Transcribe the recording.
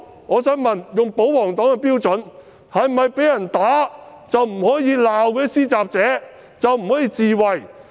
我想問，以保皇黨的標準，以後是否被人打便不可以罵施襲者、不可以自衞？